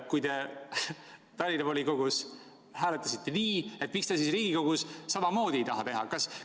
Kui te Tallinna Linnavolikogus hääletasite nii, miks te siis siin Riigikogus samamoodi teha ei taha?